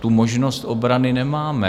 tu možnost obrany nemáme.